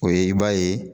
O ye i b'a ye